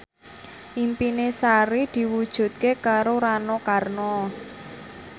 impine Sari diwujudke karo Rano Karno